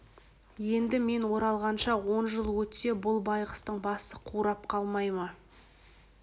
енді мен оралғанша он жыл өтсе бұл байғұстың басы қурап қалмай ма